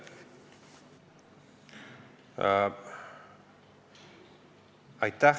Aitäh!